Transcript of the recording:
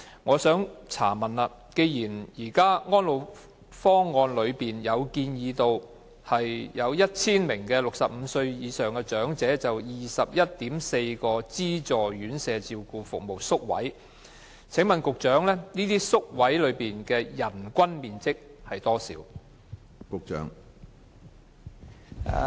我想問局長，既然《安老方案》建議每1000名65歲或以上的長者有 21.4 個資助院舍照顧服務宿位，這些宿位的人均面積要求為何？